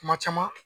Kuma caman